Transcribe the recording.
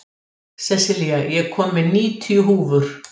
Sessilía, ég kom með níutíu húfur!